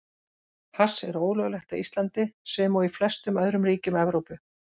Hass er ólöglegt á Íslandi, sem og í flestum öðrum ríkjum Evrópu.